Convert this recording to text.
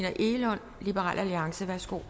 på